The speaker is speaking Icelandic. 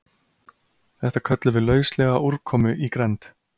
Þetta köllum við lauslega úrkomu í grennd.